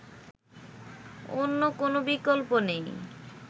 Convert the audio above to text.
অন্য কোন বিকল্প নেই